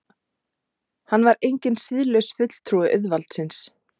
Hann var enginn siðlaus fulltrúi auðvaldsins.